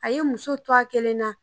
A ye muso to a kelen na